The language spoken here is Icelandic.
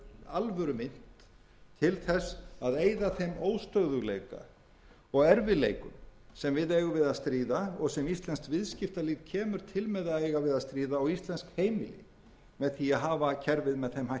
alvörumynt til þess að eyða þeim óstöðugleika og erfiðleikum sem við eigum við að stríða og sem íslenskt viðskiptalíf kemur til með að eiga við að stríða og íslensk heimili með því að hafa kerfið með þeim hætti sem við höfum